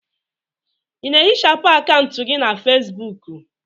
Ị na-ehichapụ akaụntụ gị na Fesbuku?